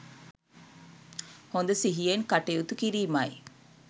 හොඳ සිහියෙන් කටයුතු කිරීමයි.